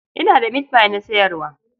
Ina da mitfai na sayarwa.